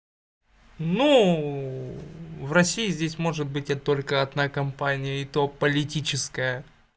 ну в россии здесь может быть это только одна компания и то политическая